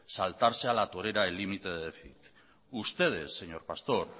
saltarse a la torera el límite de déficit ustedes señor pastor